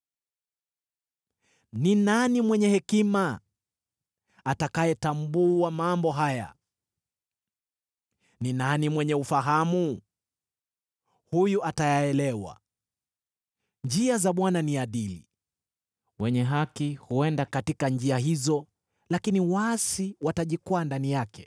Ni nani mwenye hekima? Atayatambua mambo haya. Ni nani mwenye ufahamu? Huyu atayaelewa. Njia za Bwana ni adili; wenye haki huenda katika njia hizo, lakini waasi watajikwaa ndani yake.